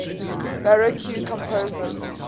baroque composers